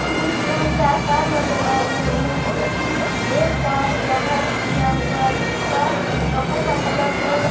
दृश्य में चार कार नजर आ रहे हैं जिसमें की एक कार कवर किया हुआ है जिसका कवर का कलर रेड है।